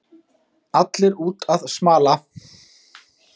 Allir úti að smala